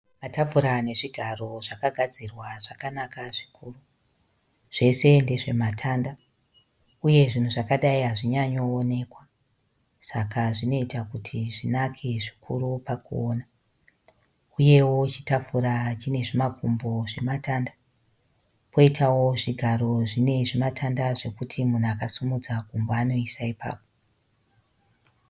Matafura nezvigaro zvakagadzirwa zvakanaka zvikuru. Zvese ndezve matanda, uye zvinhu zvakadai hazvinyanyowoneka. Saka zvinoita kuti zvinake zvikuru pakuona, uyewo chitafura chine zvimakumbo zvematanda. Poitawo zvigaro zvine zvimatanda zvekuti munhu akasimudza gumbo anoisa ipapo.